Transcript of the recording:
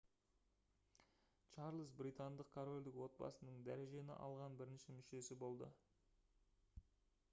чарльз британдық корольдік отбасының дәрежені алған бірінші мүшесі болды